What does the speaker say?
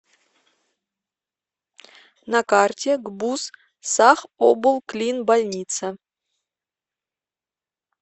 на карте гбуз сахоблклинбольница